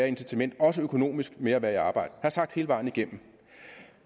incitament også økonomisk ved at være i arbejde det jeg sagt hele vejen igennem